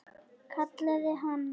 Kallaði hann.